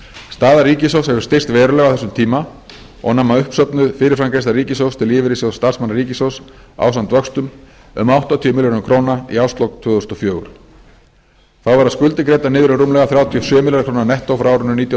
staða ríkissjóðs hefur styrkst verulega á þessum tíma og nam uppsöfnuð fyrirframgreiðsla ríkissjóðs til lífeyrissjóðs starfsmanna ríkisins ásamt vöxtum um áttatíu milljörðum króna í árslok tvö þúsund og fjögur þá verða skuldir greiddar niður um rúmlega þrjátíu og sjö milljarða króna nettó frá árinu nítján hundruð níutíu